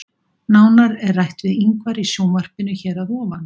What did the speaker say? Nánar er rætt við Ingvar í sjónvarpinu hér að ofan.